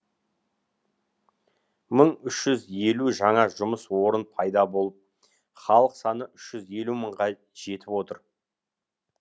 мың үш жүз елу жаңа жұмыс орын пайда болып халық саны үш жүз елу мыңға жетіп отыр